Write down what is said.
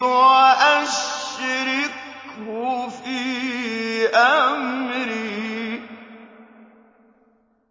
وَأَشْرِكْهُ فِي أَمْرِي